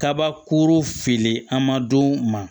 Kabakuru fili an ma don ma